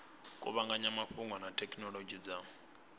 kuvhanganya mafhungo na thekhinolodzhi dza